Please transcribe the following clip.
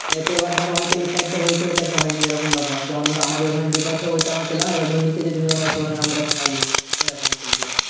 তো এবার ধরো এই side টা হয়েছে ওই side টা হয়নি এরকম ব্যাপার যেমন ধরো আমাদের ওখানে দ্বীপ আছে ঐটা আমরা পেলাম এবার ধরো নিচে যে জমি গুলো আছে ওদের এখনো হইনি এরকম চলছে